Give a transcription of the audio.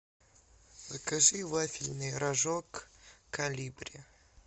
закажи вафельный рожок колибри